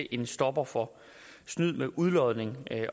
en stopper for snyd med udlodning